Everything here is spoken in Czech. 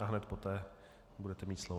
A hned poté budete mít slovo.